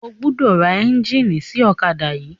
O gbọdọ̀ ra ẹ́ńjíìnì sí ọ̀kádà yìí.